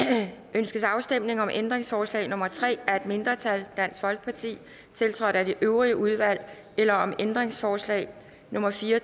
ønskes afstemning om ændringsforslag nummer tre af et mindretal tiltrådt af det øvrige udvalg eller om ændringsforslag nummer fire